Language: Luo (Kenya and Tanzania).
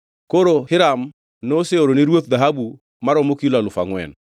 Koro Hiram noseoro ni ruoth dhahabu maromo kilo alufu angʼwen.